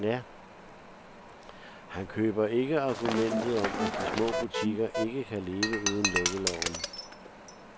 Han køber ikke argumentet om, at de små butikker ikke kan leve uden lukkeloven.